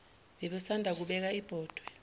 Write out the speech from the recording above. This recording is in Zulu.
babesanda kubeka ibhodwe